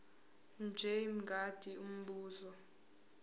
mj mngadi umbuzo